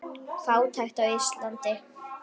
Fátækt á Íslandi